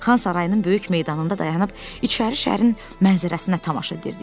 Xan sarayının böyük meydanında dayanıb İçəri şəhərin mənzərəsinə tamaşa edirdik.